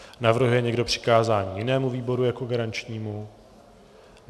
Navrhuje někdo přikázání jinému výboru jako garančnímu?